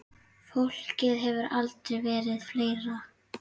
Fólkið hefur aldrei verið fleira.